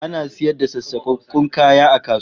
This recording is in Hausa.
Ana sayar da sassakakkun kaya a kasuwa